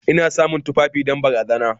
Ina samun tufafi don bazara.